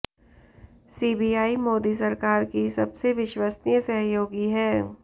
CBI Modi सरकार की सबसे विश्वसनीय सहयोगी है